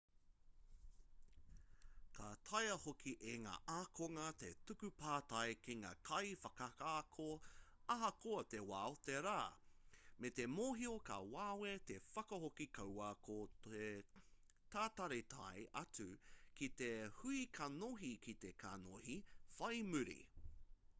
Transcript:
ka taea hoki e ngā ākonga te tuku pātai ki ngā kaiwhakaako ahakoa te wā o te rā me te mōhio ka wawe te whakahoki kaua ko te tatari tae atu ki te hui kanohi-ki-te-kanohi whai muri